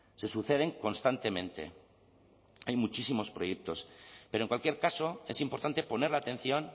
se suceden constantemente hay muchísimos proyectos pero en cualquier caso es importante poner la atención